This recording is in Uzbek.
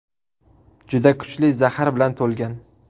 Juda kuchli zahar bilan to‘lgan.